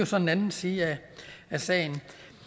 så en anden side af sagen